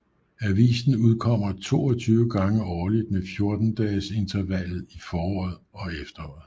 Avisen udkommer 22 gange årligt med 14 dages intervallet i foråret og efteråret